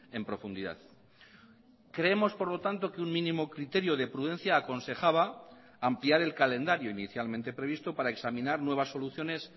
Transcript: en profundidad creemos por lo tanto que un mínimo criterio de prudencia aconsejaba ampliar el calendario inicialmente previsto para examinar nuevas soluciones